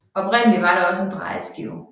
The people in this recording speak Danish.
Oprindeligt var der også en drejeskive